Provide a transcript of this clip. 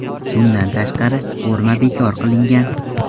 Bundan tashqari, forma bekor qilingan .